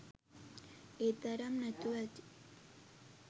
ඒ තරම් නැතුව ඇති.